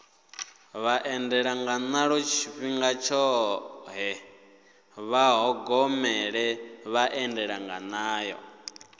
vhaendanganayo tshifhinga tshoṱhe vha ṱhogomele vhaendanganayo